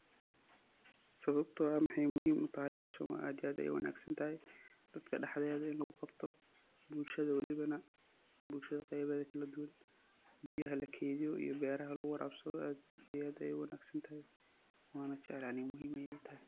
Sawabto ah waxey muhim utahay hawshan wa aad iyo aad ayey uwanagsantahay, dadka dhaxdeda in luguqabto bulshada waliba bulshada qeybaheda kaladuwan, biyaha lakeydiyo iyo beraha luguwarabsado aad iyo aad ayey uwanagsantahay wana jeclahay aniga muhim ayey itahay.